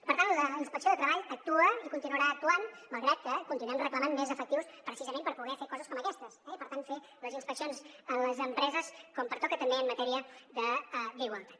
per tant la inspecció de treball actua i continuarà actuant malgrat que continuem reclamant més efectius precisament per poder fer coses com aquestes i per tant fer les inspeccions en les empreses com pertoca també en matèria d’igualtat